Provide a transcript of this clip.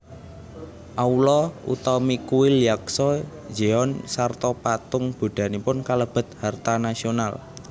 Aula utami kuil Yaksa jeon sarta patung Buddhanipun kalebet harta nasional